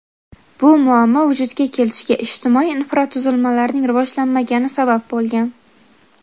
bu muammo vujudga kelishiga ijtimoiy infratuzilmalarning rivojlanmagani sabab bo‘lgan.